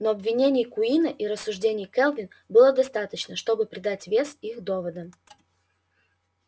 но обвинений куинна и рассуждений кэлвин было достаточно чтобы придать вес их доводам